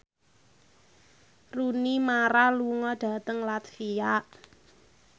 Rooney Mara lunga dhateng latvia